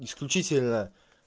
исключительно